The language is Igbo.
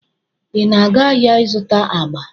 Ị na-aga ahịa ịzụta agba?